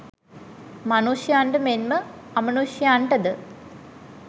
මනුෂ්‍යයන්ට මෙන්ම අමනුෂ්‍යයන්ටද